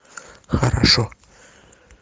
хорошо